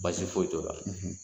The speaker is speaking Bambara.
Basi foyi t'o ra, .